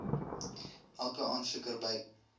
elke aansoeker by